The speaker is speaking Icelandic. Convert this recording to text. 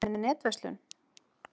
Eruð þið með netverslun?